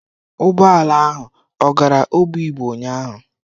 Ụgbọ ala ahụ ọ gara Obigbo ụnyahụ?